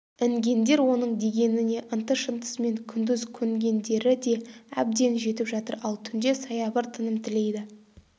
інгендер оның дегеніне ынты-шынтысымен күндіз көнгендері де әбден жетіп жатыр ал түнде саябыр тыным тілейді